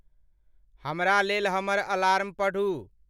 हमरा लेल हमर अलार्म पढ़ू।